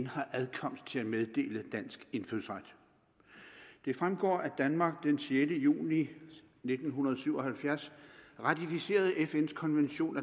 har adkomst til at meddele dansk indfødsret det fremgår at danmark den sjette juni nitten syv og halvfjerds ratificerede fns konvention